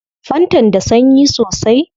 Fantan da sanyi sosai